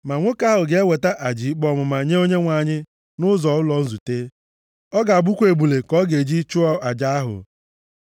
Ma nwoke ahụ ga-eweta aja ikpe ọmụma nye Onyenwe anyị nʼọnụ ụzọ ụlọ nzute. Ọ ga-abụkwa ebule ka ọ ga-eji chụọ aja ahụ.